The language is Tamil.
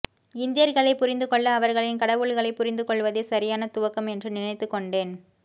இந்தியர்களைப் புரிந்து கொள்ள அவர்களின் கடவுள்களைப் புரிந்து கொள்வதே சரியான துவக்கம் என்று நினைத்துக் கொண்டேன்